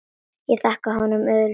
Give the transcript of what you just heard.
Ég þakkaði honum auðsýnt traust.